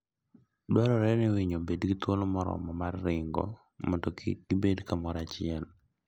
Dwarore ni winy obed gi thuolo moromo mar ringo mondo kik gibed kamoro achiel.